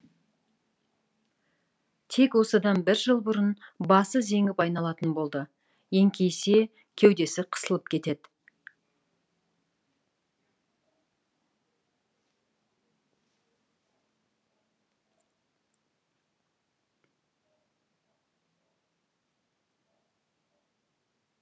тек осыдан бір жыл бұрын басы зеңіп айналатын болды еңкейсе кеудесі қысылып кетеді